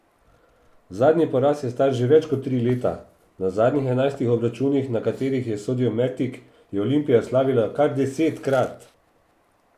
Zadnji poraz je star že več kot tri leta, na zadnjih enajstih obračunih, na katerih ji je sodil Mertik, je Olimpija slavila kar desetkrat!